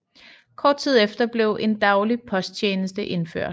Kort tid efter blev en daglig posttjeneste indført